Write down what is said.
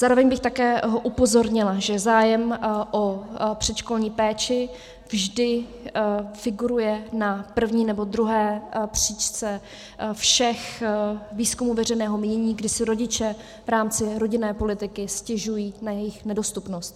Zároveň bych také upozornila, že zájem o předškolní péči vždy figuruje na první nebo druhé příčce všech výzkumů veřejného mínění, kdy si rodiče v rámci rodinné politiky stěžují na jejich nedostupnost.